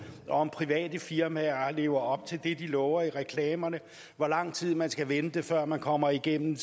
og om private firmaer lever op til det de lover i reklamerne hvor lang tid man skal vente før man kommer igennem